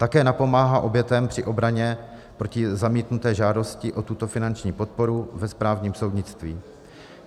Také napomáhá obětem při obraně proti zamítnuté žádosti o tuto finanční podporu ve správním soudnictví.